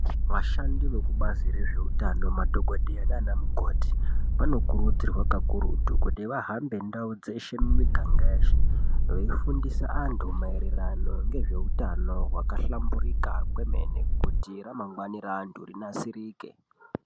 Vashandi vekubazi rezveutano madhokodheya nana mukoti vanokurudzirwa kakurutu kuti vahambe ndau dzeshe nemiganga yeshe veifundise antu maererano nezveutano hwakahlamburika kwemene kuti ramangwani raantu rinasirike.